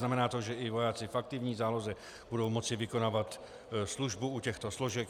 Znamená to, že i vojáci v aktivní záloze budou moci vykonávat službu u těchto složek.